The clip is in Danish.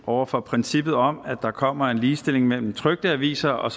over for princippet om at der kommer en ligestilling mellem trykte aviser og